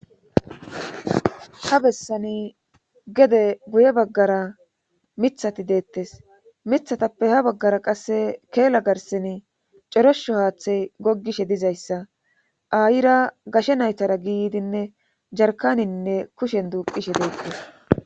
Ha bessani gede guye baggara mithati deettes mithatappe ha baggara qasse keela garseni corosho haaththey gogishe dizayssa ayira gashe naytara giidinne jarkaninne kushen duuqishe deettes